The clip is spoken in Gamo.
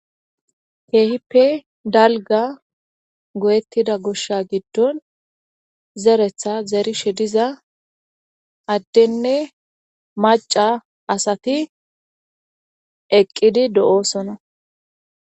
Keehippe dalga gooyettida gosha giddon zeretha zerishe diza addenne maca asati eqqidi de'osona.